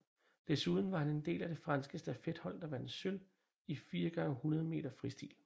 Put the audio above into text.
Desuden var han en del af det franske stafethold der vandt sølv i 4 x 100 meter fristil